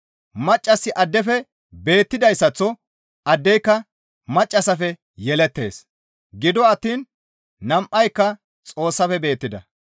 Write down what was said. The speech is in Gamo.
Maccassi addefe beettidayssaththo addeyka maccassafe yelettees; gido attiin nam7ayka Xoossafe beettida.